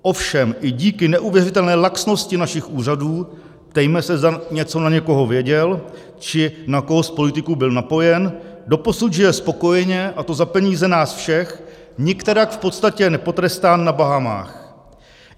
Ovšem i díky neuvěřitelné laxnosti našich úřadů, ptejme se, zda něco na někoho věděl či na koho z politiků byl napojen, doposud žije spokojeně, a to za peníze nás všech nikterak v podstatě nepotrestán na Bahamách.